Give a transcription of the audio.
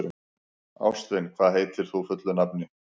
Ástvin, hvað heitir þú fullu nafni?